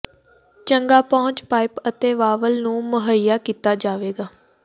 ਚੰਗਾ ਪਹੁੰਚ ਪਾਈਪ ਅਤੇ ਵਾਲਵ ਨੂੰ ਮੁਹੱਈਆ ਕੀਤਾ ਜਾਵੇਗਾ